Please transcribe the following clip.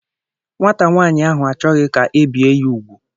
Nwata nwaanyị ahụ achọghị ka ebie ya ugwu.